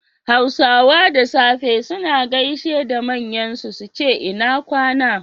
Hausawa da safe suna gaishe da manyan su, suce ina kwAna